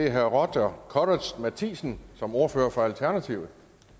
er herre roger courage matthisen som ordfører for alternativet